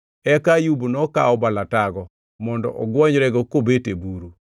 Eka Ayub nokawo balatago, mondo ogwonyrego kobet e buru.